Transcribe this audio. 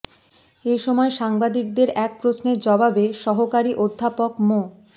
এ সময় সাংবাদিকদের এক প্রশ্নের জবাবে সহকারী অধ্যাপক মো